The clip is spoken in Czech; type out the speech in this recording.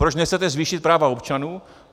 Proč nechcete zvýšit práva občanů?